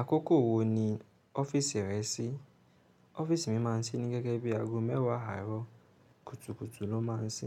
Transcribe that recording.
Àkókò wo ni ọ́fíìsì rẹ sí? Ọ́fíìsì mi máa ń sí ní gẹ́gẹ́ bí aago mẹ́wàá àárọ̀ kùtùkùtù lọ́ má ń sí.